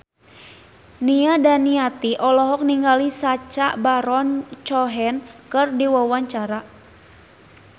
Nia Daniati olohok ningali Sacha Baron Cohen keur diwawancara